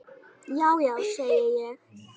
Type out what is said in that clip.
Já já, segi ég.